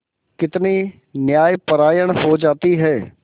कितनी न्यायपरायण हो जाती है